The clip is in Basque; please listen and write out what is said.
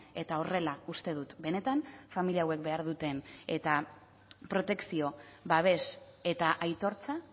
eta horrela uste dut benetan familia hauek behar duten eta protekzio babes eta aitortza